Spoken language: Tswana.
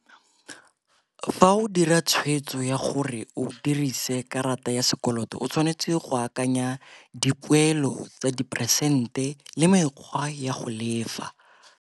Fa o dira tshwetso ya gore o dirise karata ya sekoloto o tshwanetse go akanya dipoelo tsa diperesente le mekgwa ya go lefa.